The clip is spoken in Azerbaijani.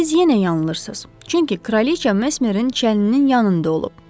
Siz yenə yanılırsız, çünki kraliça Mesmerin çəninin yanında olub.